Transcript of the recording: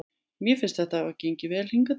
Mér finnst þetta hafa gengið vel hingað til.